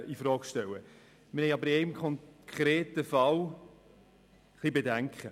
In einem konkreten Fall aber haben wir Bedenken.